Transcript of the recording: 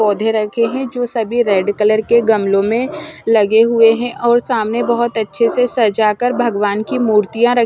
पौधे रखे हैं जो सभी रेड कलर के गमलों में लगे हुए हैं और सामने बहुत अच्छे से सजाकर भगवान् की मूर्तियाँ र--